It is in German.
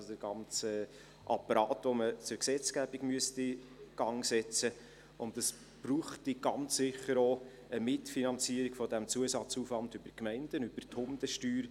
Also müsste man den ganzen Apparat zur Gesetzgebung in Gang setzen, und es bräuchte ganz sicher auch eine Mitfinanzierung dieses Zusatzaufwands über die Gemeinden, über die Hundesteuer.